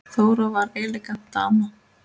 Þóra var elegant dama.